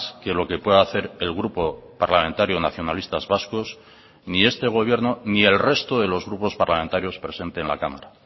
que lo que pueda hacer el grupo parlamentario nacionalistas vascos ni este gobierno ni el resto de los grupos parlamentarios presente en la cámara